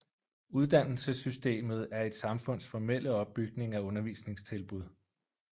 Uddannelsessystemet er et samfunds formelle opbygning af undervisningstilbud